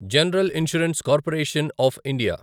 general insurance corporation of India